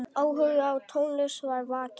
Áhugi á tónlist var vakinn.